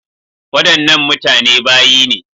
Wadannan mutane bayi ne.